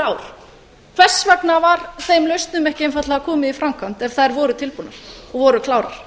ár hvers vegna var þeim lausnum ekki einfaldlega komið í framkvæmd ef þær voru tilbúnar og voru klárar